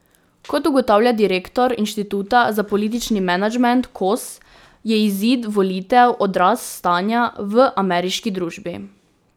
Kot ugotavlja direktor Inštituta za politični menedžment Kos, je izid volitev odraz stanja v ameriški družbi.